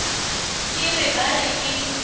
ke re ba re ke